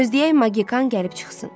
Gözləyək Magikan gəlib çıxsın.